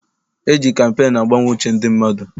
E ji kampeenu agbanwe uche ndị mmadụ.